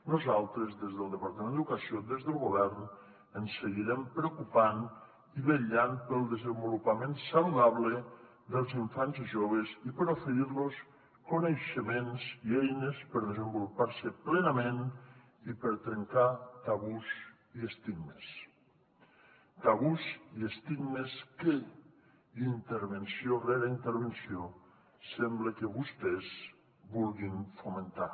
nosaltres des del departament d’educació des del govern ens seguirem preocupant i vetllant pel desenvolupament saludable dels infants i joves i per oferir los coneixements i eines per desenvolupar se plenament i per trencar tabús i estigmes tabús i estigmes que intervenció rere intervenció sembla que vostès vulguin fomentar